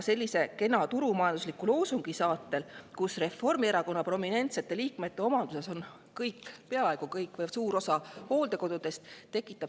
Selline kena turumajanduslik loosung tekitab küsimärke olukorras, kus Reformierakonna prominentsete liikmete omanduses on kõik või peaaegu kõik hooldekodud või suur osa hooldekodudest.